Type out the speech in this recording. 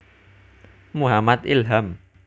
Muhammad Ilham